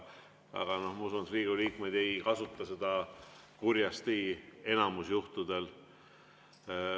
Aga ma usun, et Riigikogu liikmeid ei kasuta seda kurjasti enamikul juhtudel.